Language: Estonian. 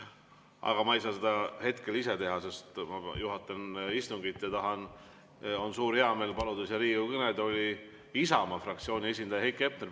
Aga ma ei saa seda hetkel ise teha, sest ma juhatan istungit ja mul on suur heameel paluda Riigikogu kõnetooli Isamaa fraktsiooni esindaja Heiki Hepner.